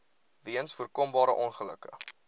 weens voorkombare ongelukke